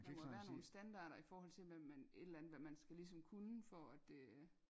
Der må være nogle standarter i forhold til hvad man et eller andet hvad man skal ligesom kunne for at det